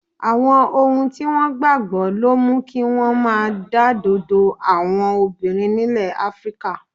Àwọn ohun tí wọ́n gbà gbọ́ ló mú kí wọ́n máa dádọ̀dọ́ àwọn obìnrin nílẹ̀ Áfíríkà.